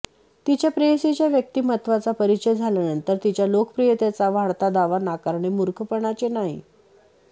तिच्या प्रेयसीच्या व्यक्तिमत्त्वाचा परिचय झाल्यानंतर तिच्या लोकप्रियतेचा वाढता दावा नाकारणे मूर्खपणाचे नाही